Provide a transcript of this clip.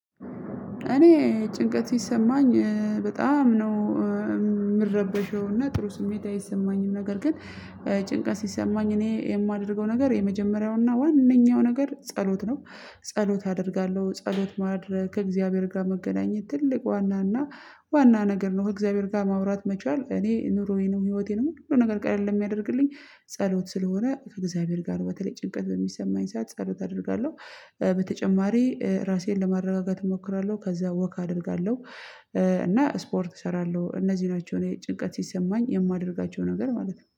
እኔ ጭንቀት ሲሰማኝ በጣም ነው ጥሩ ስሜት አይሰማኝም ነገር ግን ጭንቀት ሲሰማኝ እኔ የማደርገው ነገር የመጀመሪያውና ዋናኛው ነገር ጸሎት ነው። ጸሎት አደርጋለሁ ጸሎት ማድረግ ከእግዚአብሔር ጋር መገናኘት ትልቅ ዋና እና ዋና ነገር ነው ከእግዚአብሔር ጋር ማውራት መቻል እኔ ኑሮዬ ነው ህይወቴ ነው ሁሉ ነገር ቀለል የሚያደርግልኝ ጸሎት ስለሆነ ከእግዚአብሔር ጋር በተለይ ጭንቀት በሚሰማኝ ሰዓት ጸሎት አደርጋለሁ። በተጨማሪ ራሴን ለማረጋጋት እሞክራለሁ ከዛ ወክ አደርጋለሁ። እና ስፖርት እሰራለሁ እነዚህ ናቸው ጭንቀት ሲሰማኝ የማደርጋቸው ነገር ማለት ነው